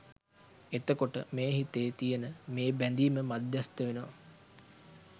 එතකොට මේ හිතේ තියෙන මේ බැඳීම මධ්‍යස්ථ වෙනවා